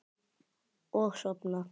Og sofna.